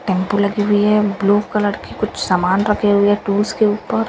Tempo लगी हुई है ब्लू कलर की कुछ सामान रखे हुए है टूल्स के ऊपर।